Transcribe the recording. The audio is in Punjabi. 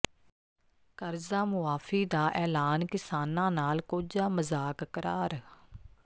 ਕਰਜ਼ਾ ਮੁਆਫ਼ੀ ਦਾ ਐਲਾਨ ਕਿਸਾਨਾਂ ਨਾਲ ਕੋਝਾ ਮਜ਼ਾਕ ਕਰਾਰ